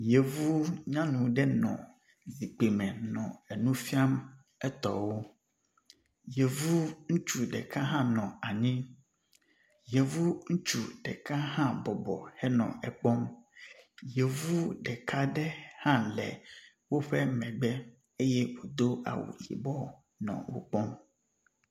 Yevu nyanu ɖe nɔ zikpi me nɔ enufiam etɔwo yevu ŋutsu ɖeka hã nɔ anyi yevu ŋutsu ɖeka hã bɔbɔ henɔ ekpɔm yevu ɖekaaɖe hã le wóƒe megbe eye wodó awu yibɔ nɔ wokpɔm